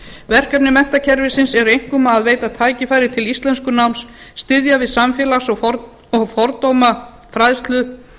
verkefni menntakerfisins eru einkum að veita tækifæri til íslenskunáms styðja við samfélags og fordómafræðslu